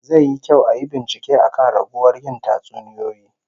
Zai yi kyau ayi bincike akan raguwar yin tatsuniyoyi